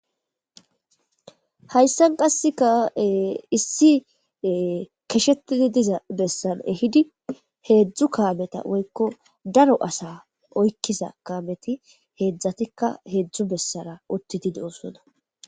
hayssan qasseka issi keshetidi diza bessan ehidi heedzdzu kaameta woykko daro asa oykkiza kaameti heedzdzatikka heedzdzu bessara uttidi deosona